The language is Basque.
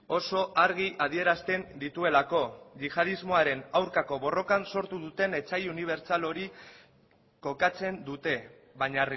oso argi adierazten dituelako isiltasuna mesedez yihadismoaren aurkako borrokan sortu duten etsai unibertsal hori kokatzen dute baina